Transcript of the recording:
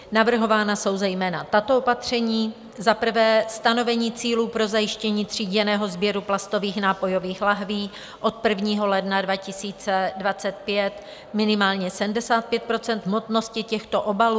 Navrhována jsou zejména tato opatření: za prvé stanovení cílů pro zajištění tříděného sběru plastových nápojových láhví - od 1. ledna 2025 minimálně 75 % hmotnosti těchto obalů a od 1. ledna 2029 minimálně 90 % hmotnosti těchto obalů.